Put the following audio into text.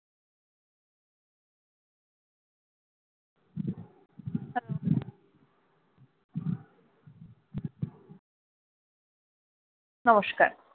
নমস্কার,